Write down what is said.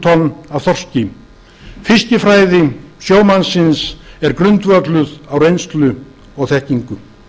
tonna af þorski fiskifræði sjómannsins er grundvölluð á reynslu og þekkingu